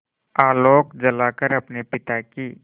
आलोक जलाकर अपने पिता की